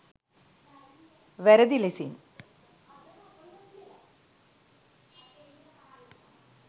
වැරදි ලෙසින්